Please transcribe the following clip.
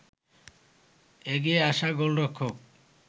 এগিয়ে আসা গোলরক্ষক